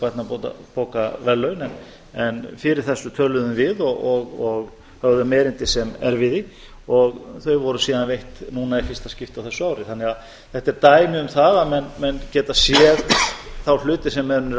að það ætti að veita sérstök barnabókaverðlaun en fyrir þessu töluðum við og höfðum erindi sem erfiði og þau voru síðan veitt núna í fyrsta skipti á þessu ári þannig að þetta er dæmi um það að menn geta séð þá hluti sem menn eru að